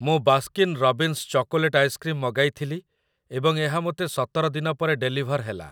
ମୁଁ Baskin Robbins chocolate ice cream ମଗାଇଥିଲି ଏବଂ ଏହା ମୋତେ ସତର ଦିନ ପରେ ଡେଲିଭର୍ ହେଲା ।